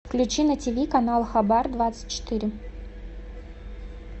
включи на тиви канал хабар двадцать четыре